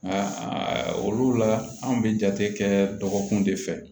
A olu la an be jate kɛ dɔgɔkun de fɛ